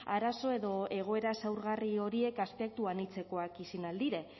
arazo edo egoera zaurgarri horiek aspektu anitzekoak izin ahal dire